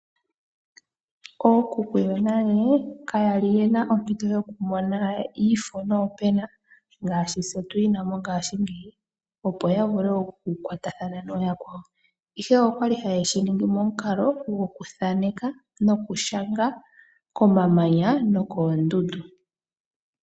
Ookuku yonale kayali yena ompito yokumona iifo noopena ngaashi tse tuyina mongashingeyi, opo yavule okutathana nooyakwawo, ihe okwa li hayeshi momukalo gokuthaneka nokushanga komamanya nokoondundu.